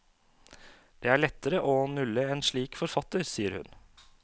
Det er lettere å nulle en slik forfatter, sier hun.